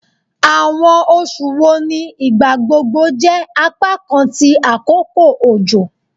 Awọn oṣu wo ni igbagbogbo jẹ apakan ti akoko ojo?